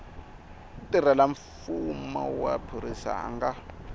mutirhelamfumo wa phorisa a nga